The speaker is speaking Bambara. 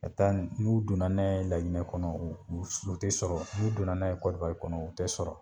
Ka taa n'u donna n'a ye laginɛ kɔnɔ o u te sɔrɔ n'u donna n'aye kɔrowari kɔnɔ u te sɔrɔ